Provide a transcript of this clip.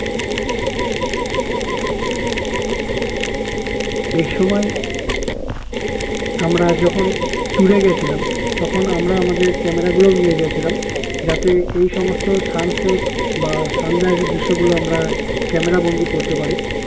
এই সময় আমরা যখন tour এ গিয়েছিলাম তখন আমরা আমাদের camera গুলোও নিয়ে গিয়েছিলাম যাতে এই সমস্ত sun set বা sun rise দৃশ্য গুলো আমরা camera বন্দি করতে পারি